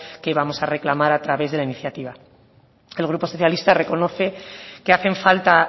que vamos a reclamar a través de la iniciativa el grupo socialista reconoce que hacen falta